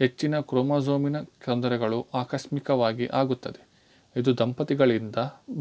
ಹೆಚ್ಚಿನ ಕ್ರೋಮೊಸೋಮಿನ ತೊಂದರೆಗಳು ಆಕಸ್ಮಿಕವಾಗಿ ಆಗುತ್ತದೆ ಇದು ದಂಪತಿಗಳಿಂದ